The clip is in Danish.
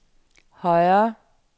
højere